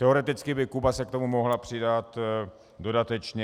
Teoreticky by Kuba se k tomu mohla přidat dodatečně.